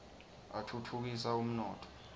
atfutfukisa umnotfo